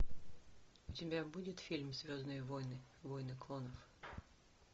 у тебя будет фильм звездные войны войны клонов